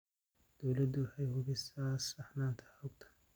Dawladdu waxay hubisaa saxnaanta xogta.